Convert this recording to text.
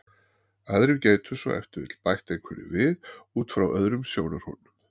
Aðrir gætu svo ef til vill bætt einhverju við út frá öðrum sjónarhornum.